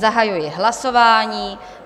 Zahajuji hlasování.